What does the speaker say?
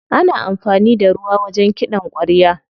Ana amfani da ruwa wajen kiɗan ƙwarya.